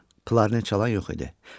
Klarinet çalan yox idi.